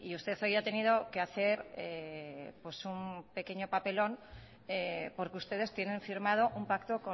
usted hoy ha tenido que hacer un pequeño papelón porque ustedes tienen firmado un pacto